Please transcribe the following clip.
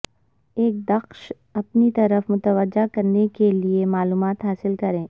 ایک دخش اپنی طرف متوجہ کرنے کے لئے معلومات حاصل کریں